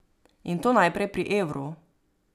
In to najprej pri evru.